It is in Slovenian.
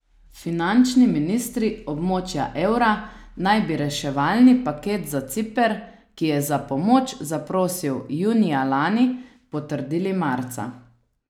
Finančni ministri območja evra naj bi reševalni paket za Ciper, ki je za pomoč zaprosil junija lani, potrdili marca.